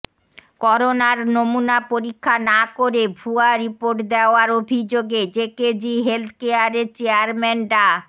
করোনার নমুনা পরীক্ষা না করে ভুয়া রিপোর্ট দেওয়ার অভিযোগে জেকেজি হেলথ কেয়ারের চেয়ারম্যান ডা